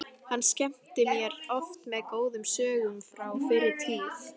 Hann skemmti mér oft með góðum sögum frá fyrri tíð.